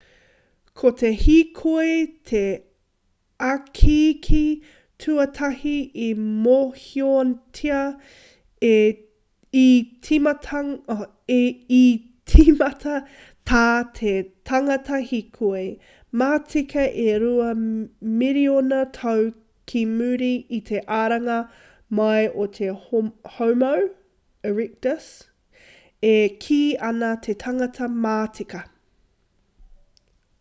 ko te hīkoi te ikiiki tuatahi i mōhiotia i tīmata tā te tangata hīkoi matika e rua miriona tau ki muri i te aranga mai o te homo erectus e kī ana te tangata matika